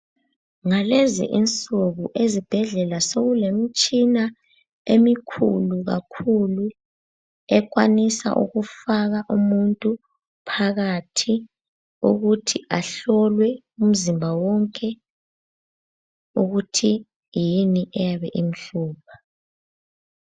Ngalezi insuku ezibhedlela sokulemtshina emikhulu kakhulu, ekwanisa ukufaka umuntu phakathi ukuthi ahlolwe umzimba wonke ukuthi yini eyabe imhlupha.